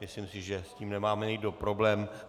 Myslím si, že s tím nemáme nikdo problém.